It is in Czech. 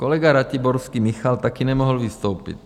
Kolega Ratiborský Michal taky nemohl vystoupit.